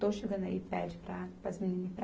Estou chegando aí, pede para para as meninas irem para